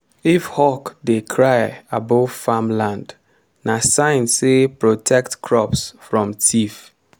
if hawk dey cry above farmland na sign say protect crops from thief.